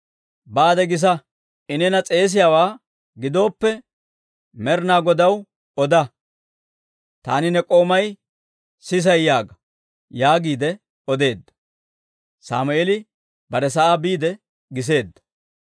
«Baade gisa; I neena s'eesiyaawaa gidooppe, Med'inaa Godaw, oda; taani ne k'oomay sisay yaaga» yaagiide odeedda; Sammeeli bare sa'aa biide giseedda.